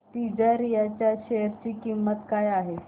तिजारिया च्या शेअर ची किंमत काय आहे